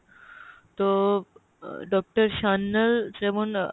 তো আহ ডাক্তার সান্যাল যেমন,